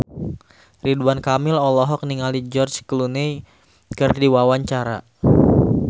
Ridwan Kamil olohok ningali George Clooney keur diwawancara